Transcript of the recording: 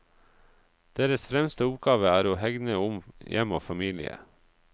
Deres fremste oppgave er å hegne om hjem og familie.